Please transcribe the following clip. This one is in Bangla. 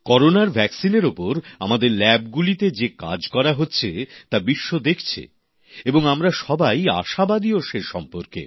করোনার ভ্যাকসিন এর ওপর আমাদের ল্যাবগুলিতে যে কাজ করা হচ্ছে তা বিশ্ব দেখছে এবং আমরা সবাই আশাবাদীও সে সম্পর্কে